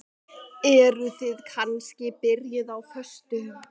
Eruð þið kannski byrjuð á föstu?